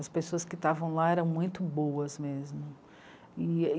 As pessoas que estavam lá eram muito boas mesmo.